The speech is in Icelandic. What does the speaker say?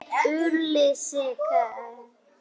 Hann hét Ulrich.